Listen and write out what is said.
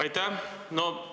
Aitäh!